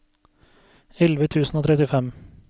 elleve tusen og trettifem